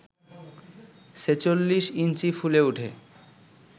ছেচল্লিশ ইঞ্চি ফুলে ওঠে